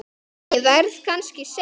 Ég verð kannski seinn.